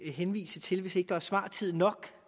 henvise til hvis ikke der er svartid nok